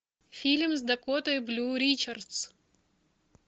фильм с дакотой блю ричардс